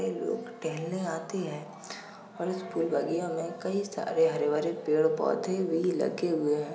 लोग टहलने आते हैं और इस फूल बगिया में कई सारे हरे भरे पेड़ पौधे भी लगे हुए हैं |